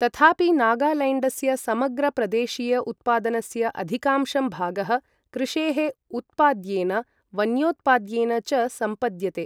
तथापि नागालैण्डस्य समग्र प्रदेशीय उत्पादनस्य अधिकांशं भागः कृषेः उत्पाद्येन वन्योत्पाद्येन च संपद्यते।